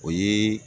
O ye